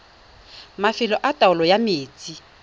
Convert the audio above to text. mafelo a taolo ya metsi